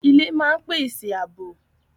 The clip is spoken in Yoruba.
Ilé máa ń pèsè àbò